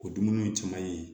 O dumuniw caman ye